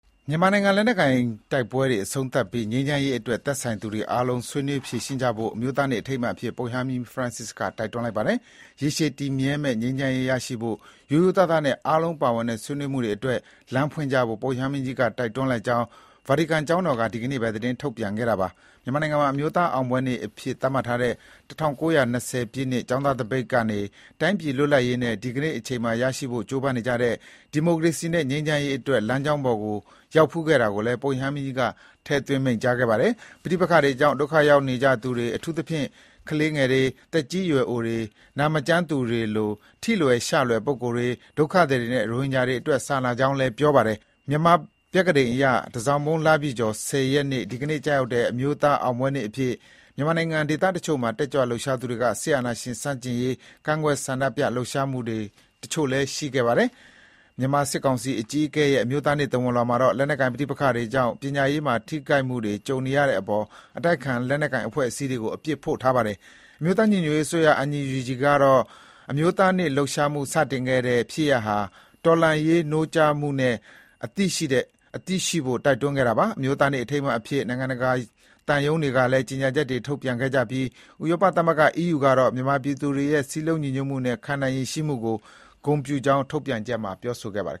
မြန်မာနိုင်ငံမှာ လက်နက်ကိုင်တိုက်ပွဲတွေအဆုံးသတ်ပြီး ငြိမ်းချမ်းရေးအတွက် သက်ဆိုင်သူအားလုံး ဆွေးနွေးဖြေရှင်းကြဖို့ အမျိုးသားနေ့အထိမ်းအမှတ်အဖြစ် ပုပ်ရဟန်းမင်းကြီး Francis က တိုက်တွန်းလိုက်ပါတယ်။ ရေရှည်တည်မြဲမယ့်ငြိမ်းချမ်းရေးရဖို့ ရိုးရိုးသားသားနဲ့ အားလုံးပါဝင်တဲ့ ဆွေးနွေးမှုတွေအတွက် လမ်းဖွင့်ကြဖို့ ပုပ်ရဟန်းမင်းကြီးကတိုက်တွန်းလိုက်ကြောင်း ဗာတီကန်ကျောင်းတော်က ဒီကနေ့ပဲ သတင်းထုတ်ပြန်ခဲ့တာပါ။ မြန်မာနိုင်ငံမှာ အမျိုးသားအောင်ပွဲနေ့အဖြစ် သတ်မှတ်ထားတဲ့ ၁၉၂၀ ပြည့်နှစ် ကျောင်းသားသပိတ် ကနေ တိုင်းပြည်လွတ်လပ်ရေးနဲ့ ဒီကနေ့အချိန်မှာရရှိဖို့ကြိုးပမ်းနေရတဲ့ ဒီမိုကရေစီနဲ့ ငြိမ်းချမ်းရေး အတွက် လမ်းကြောင်းပေါ်ရောက်ခဲ့ဖူးတာကိုလည်း ပုပ်ရဟန်းမင်းကြီးက ထည့်သွင်း မိန့်ကြားခဲ့ပါတယ်။ ပဋိပက္ခတွေကြောင့် ဒုက္ခရောက်နေရသူတွေအထူးသဖြင့် ကလေးတွေ၊ သက်ကြီးရွယ်အိုတွေ၊ နာမကျန်းသူတွေလို ထိလွယ်ရှလွယ် လူပုဂ္ဂိုလ်တွေ၊ ဒုက္ခသည်တွေနဲ့ရိုဟင်ဂျာတွေအတွက် စာနာကြောင်းလည်း ပြောပါတယ်။ မြန်မာပြက္ခဒိန်အရ တန်ဆောင်မုန်းလပြည့်ကျော် ၁၀ ရက်နေ့ ဒီကနေ့ ကျရောက်တဲ့ အမျိုးသား အောင်ပွဲနေ့အဖြစ်မြန်မာနိုင်ငံ ဒေသတချို့မှာ တက်ကြွလှုပ်ရှားသူတွေက စစ်အာဏာရှင်ဆန့်ကျင်ရေး ကန့်ကွက်ဆန္ဒပြလှုပ်ရှားမှု တချို့လည်း ရှိခဲ့တာပါ။ မြန်မာစစ်ကောင်စီအကြီးအကဲရဲ့ အမျိုးသားနေ့ သဝဏ်လွှာမှာတော့ လက်နက်ကိုင်ပဋိပက္ခတွေကြောင့် ပညာရေးမှာထိခိုက်မှုတွေကြုံနေရတဲ့အပေါ် အတိုက်အခံ လက်နက်ကိုင် အဖွဲ့အစည်းတွေကို အပြစ်ဖို့ ထားပါတယ်။ အမျိုးသား ညီညွတ်ရေးအစိုးရ ကတော့ အမျိုးသားနေ့ လှုပ်ရှားမှု စတင်ခဲ့တဲ့ ဖြစ်ရပ်ဟာ တော်လှန်ရေးနိုးကြားမှုနဲ့ အသိရှိဖို့ တိုက်တွန်းခဲ့တာပါ။ အမျိုးသားနေ့ အထိမ်းအမှတ်အဖြစ် နိုင်ငံတကာ သံရုံးတွေကလည်း ကြေညာချက်တွေ ထုတ်ပြန်ခဲ့ကြပြီး ဥရောပသမဂ္ဂ ကတော့ မြန်မာပြည်သူတွေရဲ့ စည်းလုံးညီညွတ်မှုနဲ့ ခံနိုင်ရည်ရှိမှုကို ဂုဏ်ပြုကြောင်း ထုတ်ပြန်ချက်မှာ ပြောဆိုခဲ့ပါတယ်